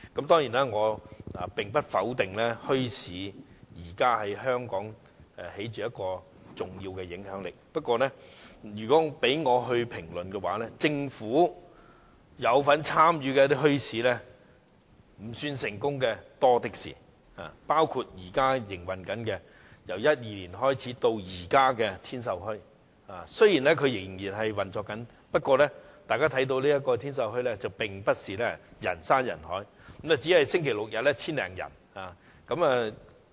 當然，我不否定現時墟市在香港有重要的影響力，不過，如果讓我來評論，我會指出，政府有份參與的墟市未算成功的例子多的是，包括自2012年營運至今的天秀墟，雖然仍然在運作中，但大家看到該處並非人山人海，周末及周日只有約 1,000 多人前往。